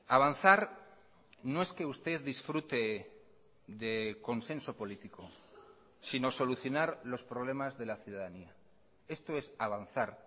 avanzar no es que usted disfrute de consenso político sino solucionar los problemas de la ciudadanía esto es avanzar